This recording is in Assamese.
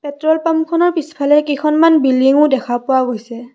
পেট্ৰল পাম্প খনৰ পিছফালে কেইখনমান বিল্ডিং ও দেখা পোৱা গৈছে।